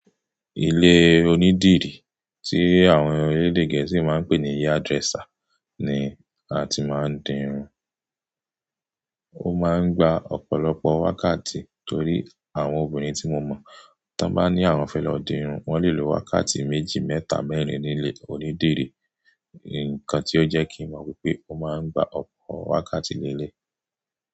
Ilé onídìrí tí àwọn orílẹ̀-èdè Gẹ̀ẹ́sì máa ń pè ní hairdresser ni a ti máa ń dirun. Ó máa ń gba ọ̀pọ̀lọpọ̀ wákàtí torí àwọn obìnrin tí mo mọ̀ tí wọ́n bá ní àwọn fẹ́ lọ dirun, wọ́n lè lo wákàtí méjì, mẹ́ta, mẹ́rin nílé onídìrí. Ǹkan tí ó jẹ́ kí n mọ̀ wípé ó máa ń gba ọ̀pọ̀ wákàtí ní eléyi.